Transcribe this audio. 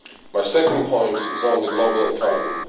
My second point is the global economy.